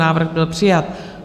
Návrh byl přijat.